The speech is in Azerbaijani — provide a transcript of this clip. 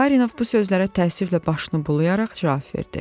Barinov bu sözlərə təəssüflə başını bulayaraq cavab verdi.